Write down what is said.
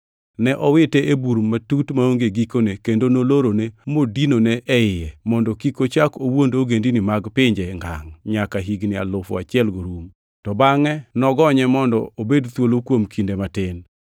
Ne owite e Bur Matut Maonge gikone, kendo nolorone modinone e iye, mondo kik ochak owuond ogendini mag pinje ngangʼ nyaka higni alufu achielgo rum. To bangʼe nogonye mondo obed thuolo kuom kinde matin.